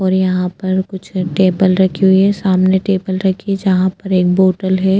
और यहाँ पर कुछ टेबल रखी हुई है सामने टेबल रखी है जहाँ पर एक बोटल है।